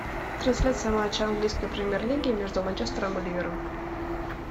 трансляция матча английской премьер лиги между манчестером и ливером